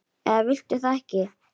eða viltu það ekki?